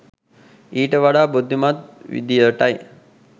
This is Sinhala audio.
ඊට වඩා බුද්ධිමත් විදියටයි